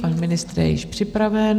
Pan ministr je již připraven.